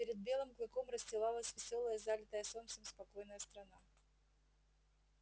перед белым клыком расстилалась весёлая залитая солнцем спокойная страна